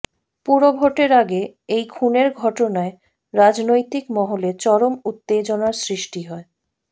পুরভোটের আগে এই খুনের ঘটনায় রাজনৈতিক মহলে চরম উত্তেজনার সৃষ্টি হয়